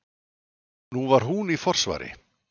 Nú var hún í forsvari.